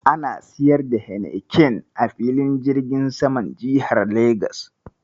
Ana siyar da Heineken a filin jirgin saman jihar Legas.